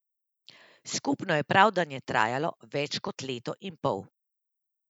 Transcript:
Skupno je pravdanje trajalo več kot leto in pol.